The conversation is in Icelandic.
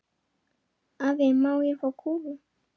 Afi, má ég fá kúlu?